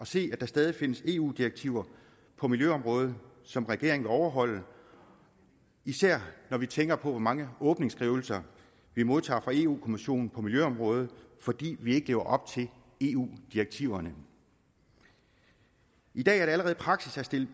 se at der stadig findes eu direktiver på miljøområdet som regeringen vil overholde især når vi tænker på hvor mange åbningsskrivelser vi modtager fra eu kommissionen på miljøområdet fordi vi ikke lever op til eu direktiverne i dag er det allerede praksis at stille